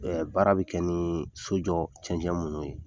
Ɛɛ baara bɛ kɛ ni sojɔ cɛnɛn minnu ye